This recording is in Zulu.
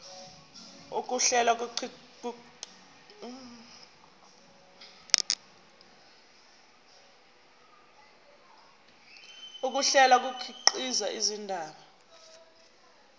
ukuhlela kukhiqiza indaba